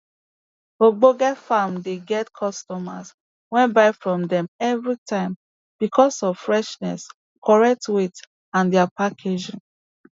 ogbonge farms dey get customers wey buy from dem evri time becos of freshness correct weight and dia packaging